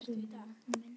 krummi nafni minn.